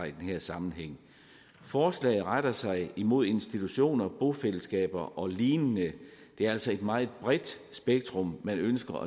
i den her sammenhæng forslaget retter sig mod institutioner bofællesskaber og lignende det er altså et meget bredt spektrum man ønsker